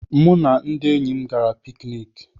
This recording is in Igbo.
Mụ na ndị enyi m gara pikiniki.